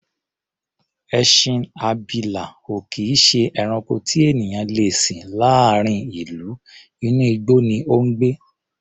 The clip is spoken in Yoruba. Ẹṣin abilà ò kì í ṣe ẹranko tí ènìyàn le sìn láàárín ìlú, inú igbó ni ó ń gbé.